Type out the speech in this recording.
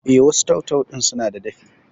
Eh, wasu tau-tau ɗin sunada dafi